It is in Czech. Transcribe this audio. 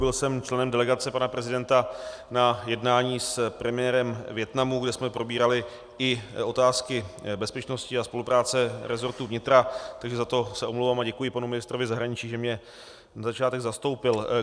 Byl jsem členem delegace pana prezidenta na jednání s premiérem Vietnamu, kde jsme probírali i otázky bezpečnosti a spolupráce rezortu vnitra, takže za to se omlouvám a děkuji panu ministrovi zahraničí, že mě na začátek zastoupil.